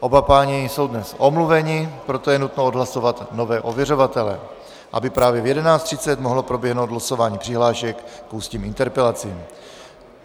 Oba páni jsou dnes omluveni, proto je nutno odhlasovat nové ověřovatele, aby právě v 11.30 mohlo proběhnout losování přihlášek k ústním interpelacím.